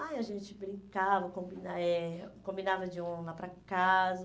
Aí a gente brincava, combina eh combinava de um ir lá para casa.